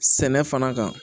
Sɛnɛ fana kan